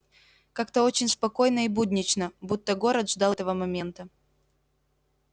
как-то очень спокойно и буднично будто город ждал этого момента